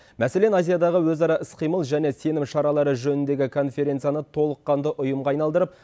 мәселен азиядағы өзара іс қимыл және сенім шаралары жөніндегі конференцияны толыққанды ұйымға айналдырып